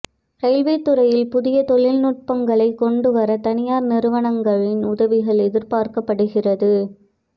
railway துறையில் புதிய தொழில்நுட்பங்களைக் கொண்டு வர தனியார் நிறுவனங்களின் உதவிகள் எதிர்பார்க்கப்படுகிறது